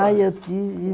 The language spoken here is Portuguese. Ah, eu tive